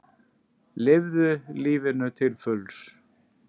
Lifðu lífinu til fulls!